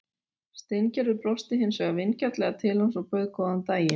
Steingerður brosti hins vegar vingjarnlega til hans og bauð góðan daginn.